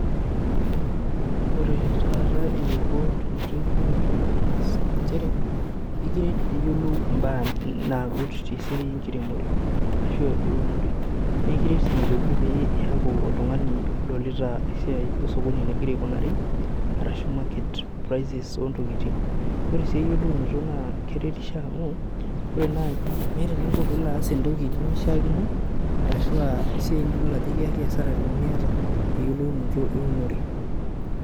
Ore taata ntumot eyiolounoto ena siai naa nchere, ekiret pee iyiolou mbaa nagut tesiai enkiremore ashua eunore. Naa ekiret sii pee iyaku oltungani odolita esiai osokoni enegira aikunari arashu market prices ontokiting. Ore eyiolounoto naa keretisho amu ,meeta eninko pee ilo aas entoki nimishaakino ashu esiai nidol ajo ekiyaki asara miyata eyiolounoto eunore.